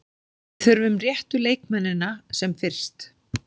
Við þurfum réttu leikmennina sem fyrst.